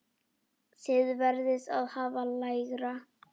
Þið verðið að hafa lægra.